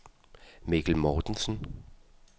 Mikkel Mortensen